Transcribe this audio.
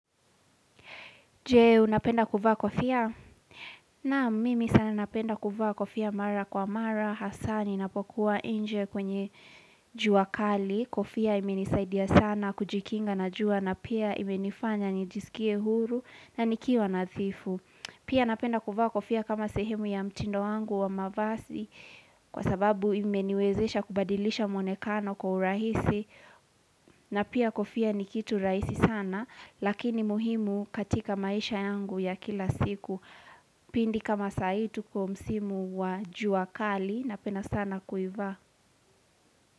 Je, unapenda kuvaa kofia? Nam, mimi sana napenda kuvaa kofia mara kwa mara, hasaa ni, napokuwa inje kwenye jua kali. Kofia imenisaidia sana kujikinga na jua na pia imenifanya nijisikie huru na nikiwa nadhifu. Pia napenda kuvaa kofia kama sehemu ya mtindo wangu wa mavazi kwa sababu imeniwezesha kubadilisha mwonekano kwa urahisi na pia kofia ni kitu rahisi sana. Lakini muhimu katika maisha yangu ya kila siku. Pindi kama sahii tuko msimu wa jua kali napenda sana kuivaa.